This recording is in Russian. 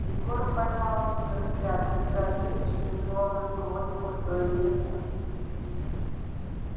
егор поймал её взгляд безразличный словно сквозь пустое место